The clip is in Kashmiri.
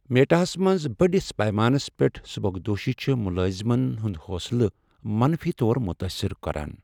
میٹا ہس منٛز بٔڑس پیمانس پیٹھ سبکدوشی چھ ملٲزمن ہنٛد حوصلہٕ منفی طور متٲثر کران ۔